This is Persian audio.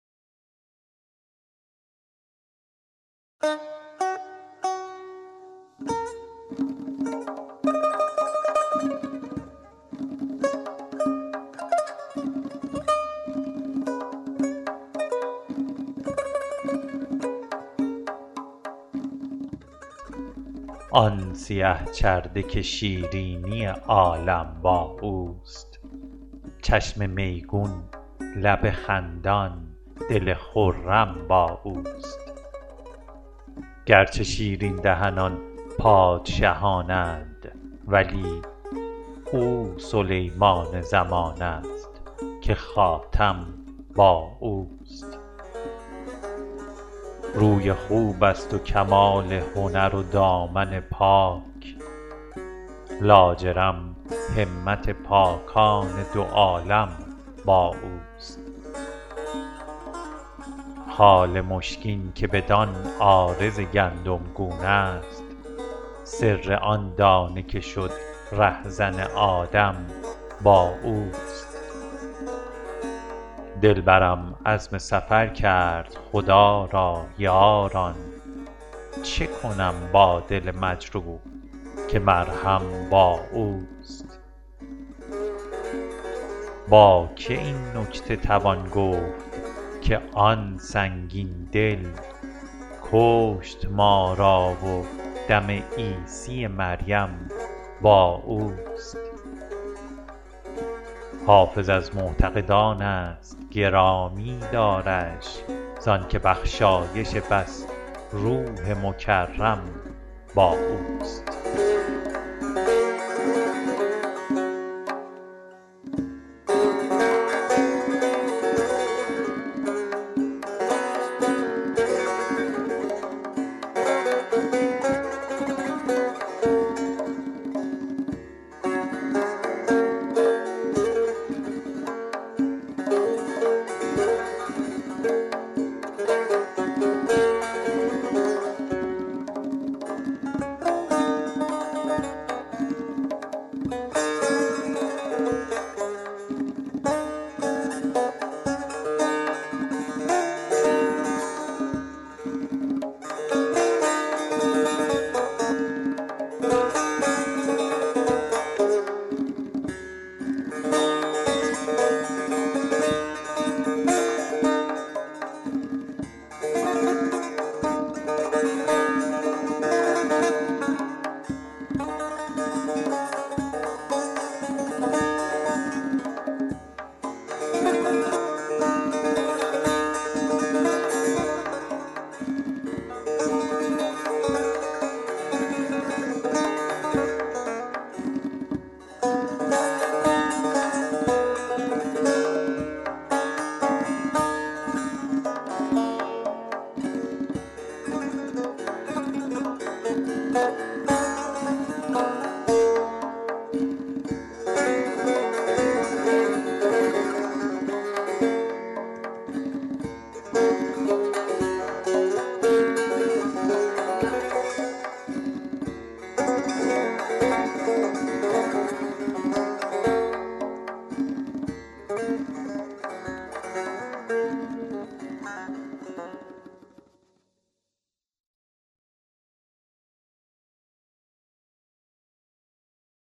آن سیه چرده که شیرینی عالم با اوست چشم میگون لب خندان دل خرم با اوست گرچه شیرین دهنان پادشهان اند ولی او سلیمان زمان است که خاتم با اوست روی خوب است و کمال هنر و دامن پاک لاجرم همت پاکان دو عالم با اوست خال مشکین که بدان عارض گندمگون است سر آن دانه که شد رهزن آدم با اوست دلبرم عزم سفر کرد خدا را یاران چه کنم با دل مجروح که مرهم با اوست با که این نکته توان گفت که آن سنگین دل کشت ما را و دم عیسی مریم با اوست حافظ از معتقدان است گرامی دارش زان که بخشایش بس روح مکرم با اوست